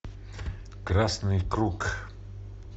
красный круг